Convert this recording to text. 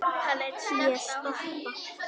Ég stoppa.